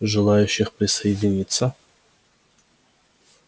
желающих присоединиться